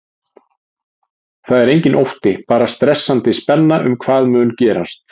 Það er enginn ótti, bara stressandi spenna um hvað mun gerast.